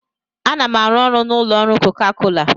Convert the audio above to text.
Ana m arụ ọrụ n'ụlọ ọrụ koka kola